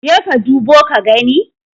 jeka ka dubo ka gani?